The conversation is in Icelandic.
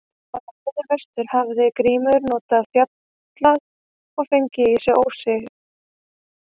Á leiðinni vestur með hafði Grímur farið norðan fjalla og fengið í sig óyndi.